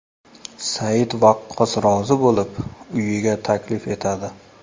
Said Vaqqos rozi bo‘lib, uyiga taklif etadi.